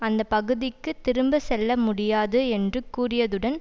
அந்த பகுதிக்கு திரும்ப செல்ல முடியாது என்று கூறியதுடன்